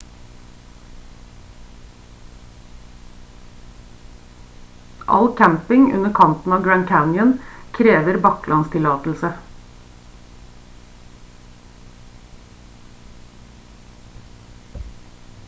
all camping under kanten av grand canyon krever baklandstillatelse